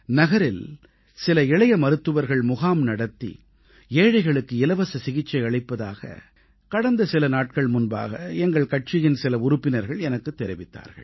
நகரில் சில இளைய மருத்துவர்கள் முகாம் நடத்தி ஏழைகளுக்கு இலவச சிகிச்சை அளிப்பதாக கடந்த சில நாட்கள் முன்பாக எங்கள் கட்சியின் சில உறுப்பினர்கள் எனக்குத் தெரிவித்தார்கள்